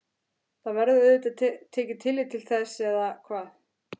Það verður auðvitað tekið tillit til þess eða hvað?